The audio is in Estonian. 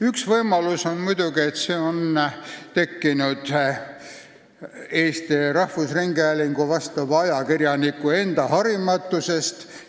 Üks võimalus on muidugi, et see viga on tekkinud Eesti Rahvusringhäälingu ajakirjaniku enda harimatuse tõttu.